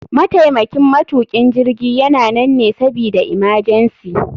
Mataimakin matukin jirgi yana nan ne sabida imajensi.